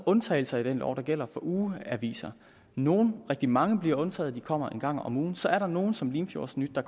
undtagelser i den lov der gælder for ugeaviser nogle rigtig mange bliver undtaget udkommer en gang om ugen så er der nogle som limfjordsnyt der